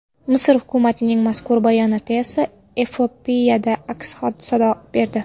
Misr hukumatining mazkur bayonoti esa Efiopiyada aks-sado berdi.